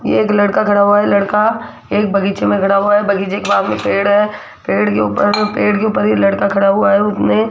ये एक लड़का खड़ा हुआ है लड़का एक बगीचे में खड़ा हुआ है बगीचे के बाग में पेड़ है पेड़ के ऊपर पेड़ के ऊपर ये लड़का खड़ा हुआ है उसने --